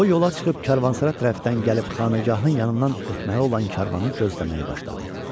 O yola çıxıb karvansara tərəfdən gəlib xanəgahın yanından ötməli olan karvanı gözləməyə başladı.